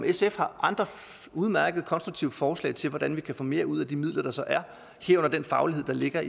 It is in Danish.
sf har andre udmærkede konstruktive forslag til hvordan vi kan få mere ud af de midler der så er herunder den faglighed der ligger